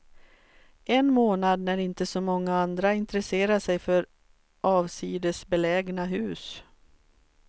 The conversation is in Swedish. En månad när inte så många andra intresserar sig för avsides belägna hus.